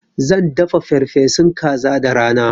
Zan dafa farfesun kaza da rana.